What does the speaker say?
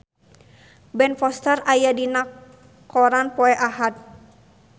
Ben Foster aya dina koran poe Ahad